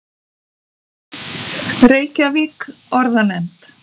Reykjavík: Orðanefnd.